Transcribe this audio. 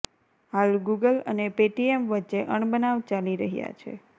હાલ ગૂગલ અને પેટીએમ વચ્ચે અણબનાવ ચાલી રહ્યા છે